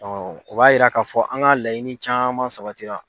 o b'a yira k'a fɔ an ka laɲini caman sabatira.